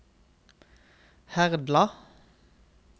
Herdla